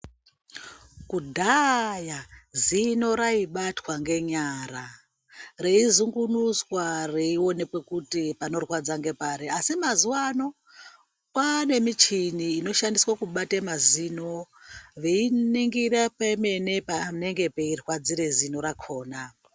Kudhaaya zino raubatwa ngenyara reizungunuswa reionekwe kuti panorwadza ngepari asi mazuwaano kwaane michini inoshandiswa kubate mazino veiningira pemene panenge peirwadzire zino rakhona.